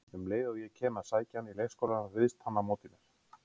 Um leið og ég kem að sækja hann í leikskólann, ryðst hann á móti mér